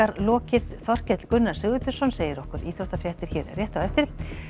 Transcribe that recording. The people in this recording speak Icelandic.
lokið Þorkell Gunnar segir okkur íþróttafréttir hér rétt á eftir